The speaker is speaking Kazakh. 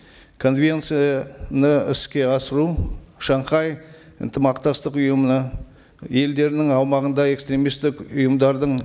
конвенцияны іске асыру шанхай ынтымақтастық ұйымына елдерінің аумағында экстремисттік ұйымдардың